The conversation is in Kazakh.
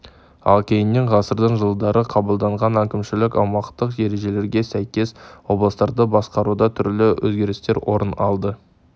ал кейіннен ғасырдың жылдары қабылданған әкімшілік-аумақтық ережелерге сәйкес облыстарды басқаруда түрлі өзгерістер орын алды